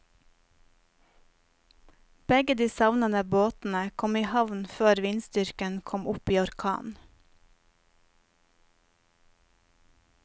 Begge de savnede båtene kom i havn før vindstyrken kom opp i orkan.